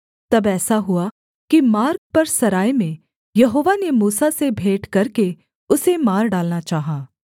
तब ऐसा हुआ कि मार्ग पर सराय में यहोवा ने मूसा से भेंट करके उसे मार डालना चाहा